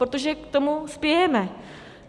Protože k tomu spějeme.